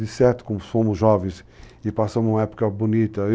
De certo, como fomos jovens e passamos uma época bonita.